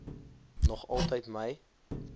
nog altyd my